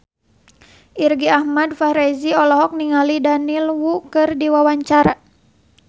Irgi Ahmad Fahrezi olohok ningali Daniel Wu keur diwawancara